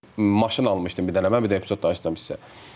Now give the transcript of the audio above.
Maşın almışdım bir dənə mən, mən bir dənə epizod da açacam sizə.